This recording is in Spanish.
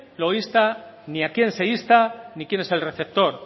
lo insta ni a quién se insta ni quién es el receptor